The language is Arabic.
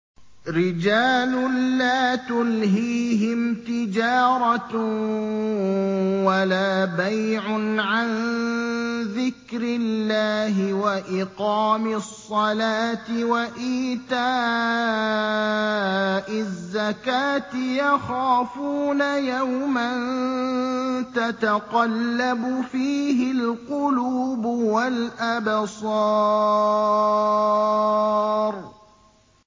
رِجَالٌ لَّا تُلْهِيهِمْ تِجَارَةٌ وَلَا بَيْعٌ عَن ذِكْرِ اللَّهِ وَإِقَامِ الصَّلَاةِ وَإِيتَاءِ الزَّكَاةِ ۙ يَخَافُونَ يَوْمًا تَتَقَلَّبُ فِيهِ الْقُلُوبُ وَالْأَبْصَارُ